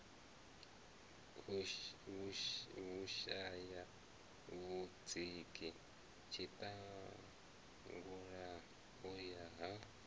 vhushaya vhudziki tshiṱalula u ya